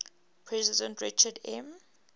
president richard m